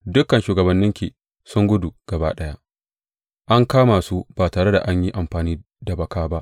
Dukan shugabanninki sun gudu gaba ɗaya; an kama su ba tare da an yi amfani da baka ba.